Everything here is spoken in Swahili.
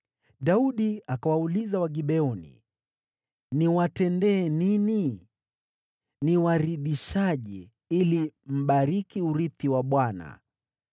Daudi akawauliza Wagibeoni, “Niwatendee nini? Nitawaridhishaje ili mbariki urithi wa Bwana ?”